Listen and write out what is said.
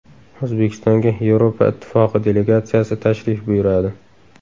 O‘zbekistonga Yevropa Ittifoqi delegatsiyasi tashrif buyuradi.